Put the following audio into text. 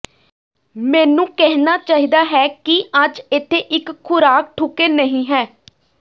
ਮੈਨੂੰ ਕਹਿਣਾ ਚਾਹੀਦਾ ਹੈ ਕਿ ਅੱਜ ਇੱਥੇ ਇੱਕ ਖ਼ੁਰਾਕ ਠੁਕੇ ਨਹੀ ਹੈ